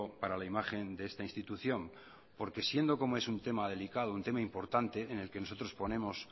para la imagen de esta institución porque siendo como es un tema delicado un tema importante en el que nosotros ponemos